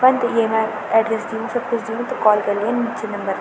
कन त येमा एड्रेस दियुं च सब कुछ दियुं त कॉल कर्लियाँ यु मुख्य नंबर --